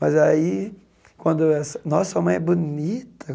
Mas aí quando essa nossa, sua mãe é bonita.